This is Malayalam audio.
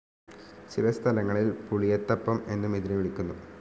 ചില സ്ഥലങ്ങളിൽപുളിയത്തപ്പംഎന്നും ഇതിനെ വിളിക്കുന്നു.